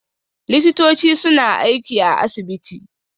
Likitoci suna aiki a asibiti